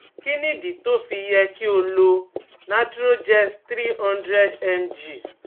Kí nìdí tó tó fi yẹ kí o lo naturogest three hundred mg